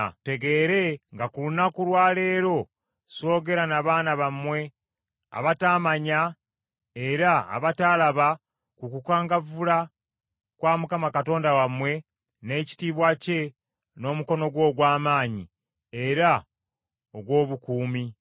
Mutegeere nga ku lunaku lwa leero soogera na baana bammwe abataamanya era abataalaba ku kukangavvula kwa Mukama Katonda wammwe, n’ekitiibwa kye n’omukono gwe ogw’amaanyi, era ogw’obukuumi;